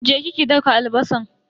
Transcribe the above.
Je ki ki daka albasan.